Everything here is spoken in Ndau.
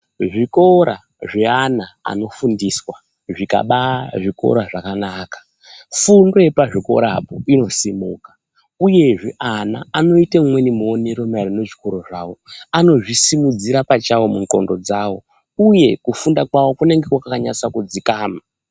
Zvikora zviyana ano fundiswa zvikaba zvikora zvakanaka fundo yepa zvikora apo ino simuka uyezve ana ano ite umweni muonero ma ererano ne chikoro zvawo anozvi simudzira pachawo mu ndxondo dzawo uye kufunda kwavo kunenge kwaka nasa ku dzikama.